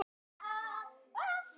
Gleðin þín kallar fram bros.